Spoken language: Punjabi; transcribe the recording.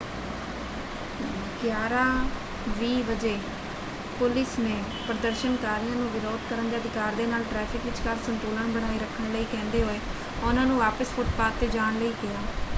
11:20 ਵਜੇ ਪੁਲਿਸ ਨੇ ਪ੍ਰਦਰਸ਼ਨਕਾਰੀਆਂ ਨੂੰ ਵਿਰੋਧ ਕਰਨ ਦੇ ਅਧਿਕਾਰ ਦੇ ਨਾਲ ਟ੍ਰੈਫਿਕ ਵਿਚਕਾਰ ਸੰਤੁਲਨ ਬਣਾਈ ਰੱਖਣ ਲਈ ਕਹਿੰਦੇ ਹੋਏ ਉਹਨਾਂ ਨੂੰ ਵਾਪਸ ਫੁੱਟਪਾਥ ‘ਤੇ ਜਾਣ ਲਈ ਕਿਹਾ।